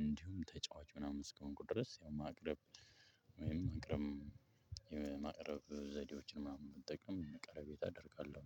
እንዲሁም ተጫዋች ምናምን እስከሆንኩ ድረስ ያው ማቅረብ ወይም ማቅረብ የማቅረብ ዘዴዎችን ምናምን መጠቀም ቅረቤታ አደርጋለሁ።